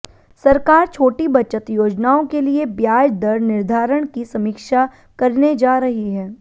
सरकार छोटी बचत योजनाओं के लिए ब्याज दर निर्धारण की समीक्षा करने जा रही है